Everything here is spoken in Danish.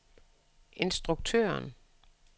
instruktøren